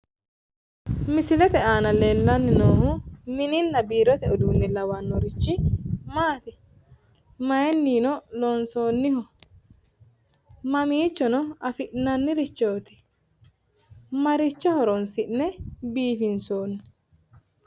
Misilete aana leellanni noohu mininna biirote uduunne lawannorichi maati? maayiinino loonsoonniho? mamiichono afi'nannirichooti? maricho horonsi'ne biifinsoonni?